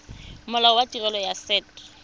molao wa tirelo ya set